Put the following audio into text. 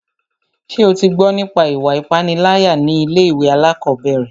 Ṣé o tí gbọ́ nípa ìwà ipániláyà ní ilé ìwé alákọ̀berẹ̀?